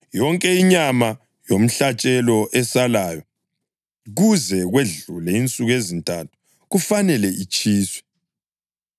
Yonke inyama yomhlatshelo esalayo kuze kwedlule insuku ezintathu kufanele itshiswe.